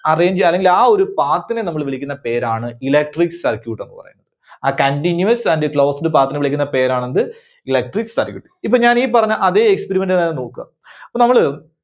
arrange അല്ലെങ്കിൽ ആ ഒരു path നെ നമ്മള് വിളിക്കുന്ന പേരാണ് Electric Circuit എന്ന് പറയുന്നത്. ആ Continuous and closed path നെ വിളിക്കുന്ന പേരാണ് എന്ത് Electric Circuit. ഇപ്പോ ഞാൻ ഈ പറഞ്ഞ അതേ experiment തന്നെ നോക്കുക. അപ്പോ നമ്മള്